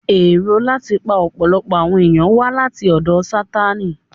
Èrò láti pa ọ̀pọ̀lọpọ̀ ènìyàn wá láti ọ̀dọ̀ Sátánì